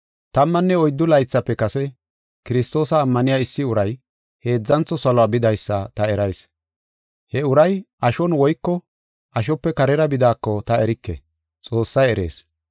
Tammanne oyddu laythafe kase, Kiristoosa ammaniya issi uray heedzantho saluwa bidaysa ta erayis. He uray ashon woyko ashope karera bidaako ta erike; Xoossay erees.